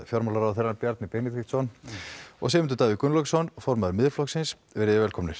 fjármálaráðherra Bjarni Benediktsson og Sigmundur Davíð Gunnlaugsson formaður Miðflokksins velkomnir